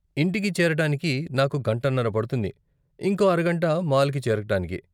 ఇంటికి చేరటానికి నాకు గంటన్నర పడుతుంది, ఇంకో అరగంట మాల్కి చేరటానికి.